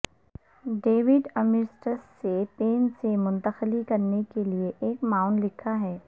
David امیرسٹس سے پین سے منتقلی کرنے کے لئے ایک معاون لکھا ہے